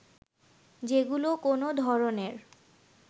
যেগুলো কোনো ধরনের